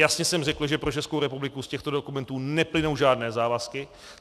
Jasně jsem řekl, že pro Českou republiku z těchto dokumentů neplynou žádné závazky.